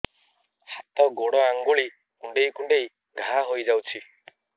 ହାତ ଗୋଡ଼ ଆଂଗୁଳି କୁଂଡେଇ କୁଂଡେଇ ଘାଆ ହୋଇଯାଉଛି